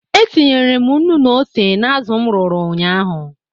E tinyere m nnu na ose n'azụ m rụrụ ụnyaahụ.